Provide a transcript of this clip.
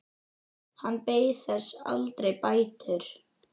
Hann beið þess aldrei bætur.